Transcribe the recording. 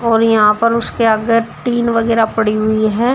और यहां पर उसके आगे टिन वगैरा पड़ी हुई है।